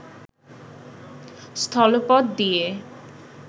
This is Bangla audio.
স্থলপথ দিয়ে